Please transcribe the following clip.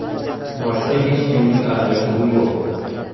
Boshqa hech kimning aralashuvi yo‘q.